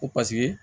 Ko paseke